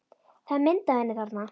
Það er mynd af henni þarna.